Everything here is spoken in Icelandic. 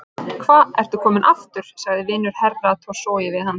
Hva ertu kominn aftur, sagði vinur Herra Toshizoz við hann.